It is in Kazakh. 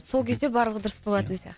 сол кезде барлығы дұрыс болатын сияқты